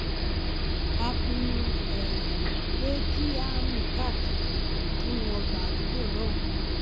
a pinnu pé kí a rìn káàkiri nínú ọgbà àdúgbò náà